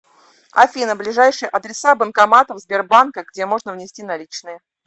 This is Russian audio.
афина ближайшие адреса банкоматов сбербанка где можно внести наличные